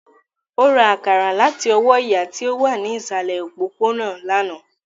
Ó ra àkàrà láti ọwọ́ ìyá tí ó wà ní ìsàlẹ̀ òpópónà lánàá